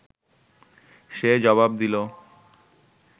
সে জবাব দিল